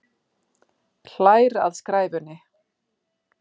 Hlær að skræfunni.